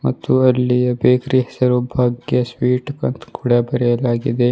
ಮತ್ತು ಅಲ್ಲಿಯ ಬೇಕರಿ ಹೆಸರು ಭಾಗ್ಯ ಸ್ವೀಟ್ ಗತ್ ಅಂತ್ ಕೂಡ ಬರೆಯಲಾಗಿದೆ.